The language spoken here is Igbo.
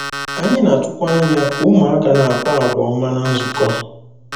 Anyị na-atụkwa anya ka ụmụaka na-akpa àgwà ọma ná nzukọ.